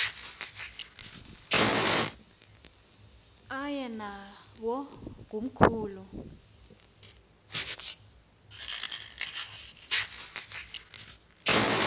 aye nawo komkhulu